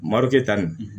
Marɔkɛ ta nin